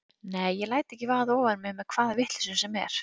Nei, ég læt ekki vaða ofan í mig með hvaða vitleysu sem er.